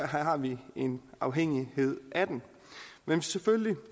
har vi en afhængighed af den men selvfølgelig